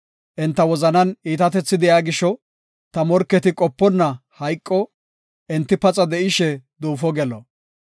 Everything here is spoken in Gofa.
Enta wozanan iitatethi de7iya gisho, ta morketi qoponna hayqo; enti paxa de7ishe duufo gelo.